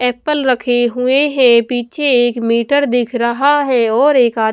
Apple रखे हुए हैं पीछे एक मीटर दिख रहा है और एक--